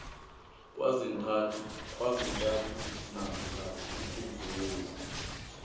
kwezintathu namkha ukudlula